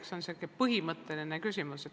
See on säärane põhimõtteline küsimus.